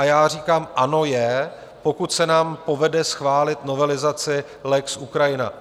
A já říkám ano, je, pokud se nám povede schválit novelizaci lex Ukrajina.